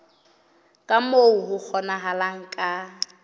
ka moo ho kgonahalang ka